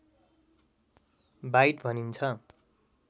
bite भनिन्छ